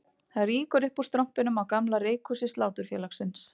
Það rýkur upp úr strompinum á gamla reykhúsi Sláturfélagsins